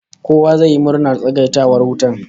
Kowa zai yi murnar tsagaita wutar